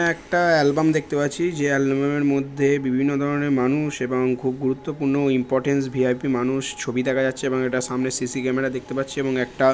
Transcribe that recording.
একটা অ্যালবাম দেখতে পাচ্ছি যে অ্যালবাম এর মধ্যে বিভিন্ন ধরনের মানুষ এবং খুব গুরুত্বপূর্ণ ইম্পরট্যান্ট ভি.আই.পি. মানুষ ছবি দেখা যাচ্ছে এবং এটা সামনে সি.সি. ক্যামেরা দেখতে পারছি এবং একটা--